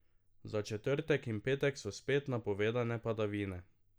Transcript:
Za četrtek in petek so spet napovedane padavine.